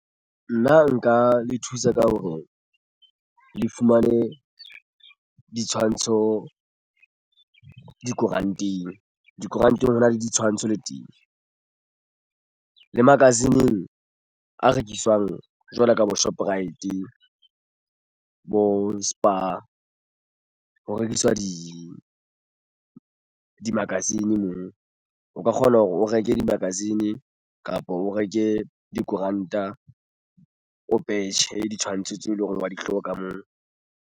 Nna nka le thusa ka hore le fumane ditshwantsho dikoranteng hona le ditshwantsho le teng le magazine-ng a rekiswang jwalo ka bo Shoprite bo Spar, ho rekiswa di-magazine moo o ka kgona hore o reke di-magazine kapa o reke dikoranta o petjhe ditshwantsho tseo eleng hore wa di hloka moo.